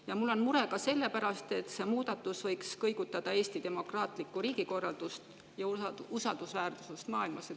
Ja mul on mure ka selle pärast, et see muudatus võiks kõigutada Eesti demokraatlikku riigikorraldust ja usaldusväärsust maailmas.